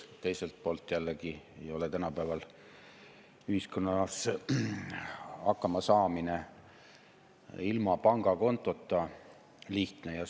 Teiselt poolt ei ole tänapäeval ühiskonnas ilma pangakontota lihtne hakkama saada.